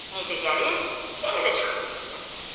Necə gəlib, elə də çıxıb getsin.